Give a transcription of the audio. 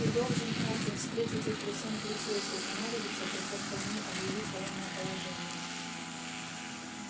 ты должен хардин встретить их лицом к лицу если понадобится то чёрт возьми объявить военное положение